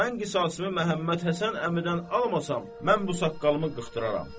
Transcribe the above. Mən qisasımı Məhəmməd Həsən əmidən almasam, mən bu saqqalımı qırdıraram.